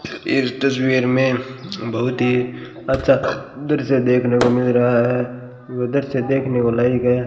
इस तस्वीर में अं बहुत ही अच्छा दृश्य देखने को मिल रहा है उधर से देखने को लाई गए --